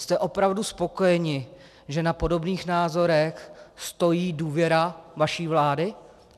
Jste opravdu spokojeni, že na podobných názorech stojí důvěra vaší vlády?